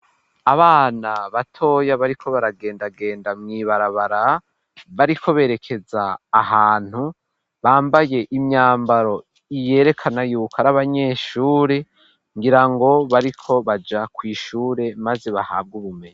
Abana batoya bariko baragendagenda mwibarabara bariko berekeza ahantu bambaye imyambaro iyerekana yuko ar'abanyeshure ngira ngo bariko baja kw'ishure maze bahabwa ubumenyi.